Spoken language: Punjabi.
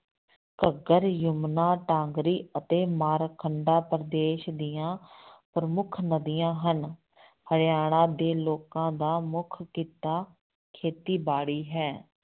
ਘੱਗਰ, ਜਮੁਨਾ, ਢਾਗਰੀ ਅਤੇ ਮਾਰਕੰਡਾ ਪ੍ਰਦੇਸ਼ ਦੀਆਂ ਪ੍ਰਮੁੱਖ ਨਦੀਆਂ ਹਨ, ਹਰਿਆਣਾ ਦੇ ਲੋਕਾਂ ਦਾ ਮੁੱਖ ਕਿੱਤਾ ਖੇਤੀਬਾੜੀ ਹੈ।